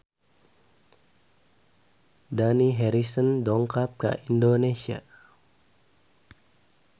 Dani Harrison dongkap ka Indonesia